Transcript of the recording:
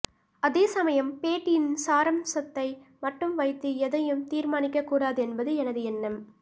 அதே சமயம் பேட்டியின் சாராம்சத்தை மட்டும் வைத்து எதையும் தீர்மானிக்கக் கூடாது என்பது எனது எண்ணம்